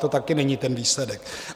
To taky není ten výsledek.